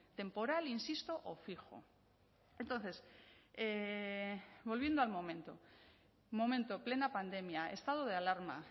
temporal insisto o fijo entonces volviendo al momento momento plena pandemia estado de alarma